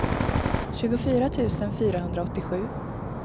tjugofyra tusen fyrahundraåttiosju